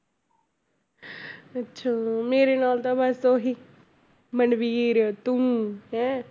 ਅੱਛਾ ਮੇਰੇ ਨਾਲ ਤਾਂ ਬਸ ਉਹੀ ਮਨਵੀਰ ਤੂੰ ਹੈਂ